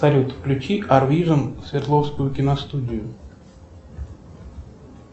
салют включи ар вижн свердловскую киностудию